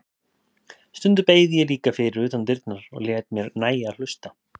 Stundum beið ég líka fyrir utan dyrnar og lét mér nægja að hlusta.